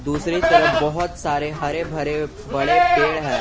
दूसरी तरफ बहोत सारे हरे भरे बड़े पेड़ हैं।